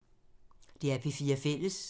DR P4 Fælles